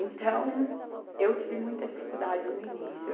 Então, eu tive muita dificuldade no início.